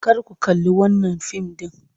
Kar ku kalli wannan fim din!